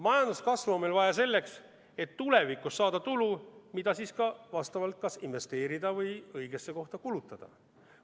Majanduskasvu on meil vaja selleks, et tulevikus saada tulu, mida kas investeerida või õiges kohas kulutada.